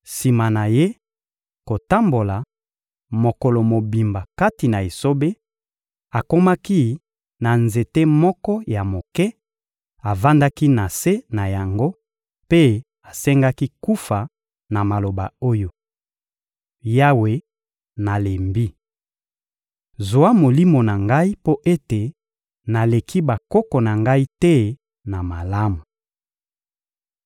Sima na ye kotambola mokolo mobimba kati na esobe, akomaki na nzete moko ya moke, avandaki na se na yango mpe asengaki kufa na maloba oyo: — Yawe, nalembi! Zwa molimo na ngai mpo ete naleki bakoko na ngai te na malamu.